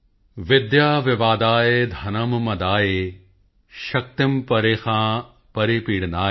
ਵਿਦਿਯਾ ਵਿਵਾਦਾਯ ਧਨੰ ਮਦਾਯ ਸ਼ਕਤੀ ਪਰੇਸ਼ਾਂ ਪਰਿਪੀਡਨਾਯ